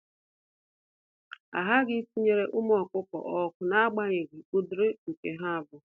Ahaghị itinyere ụmụ ọkụkọ ọkụ, naagbanyeghi ụdịrị nke ha bụ.